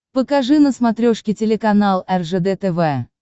покажи на смотрешке телеканал ржд тв